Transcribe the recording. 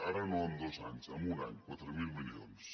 ara no en dos anys en un any quatre mil milions